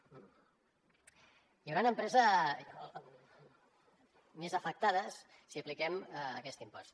hi hauran empreses més afectades si apliquem aquest impost